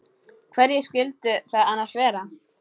Hverjir skyldu það annars vera?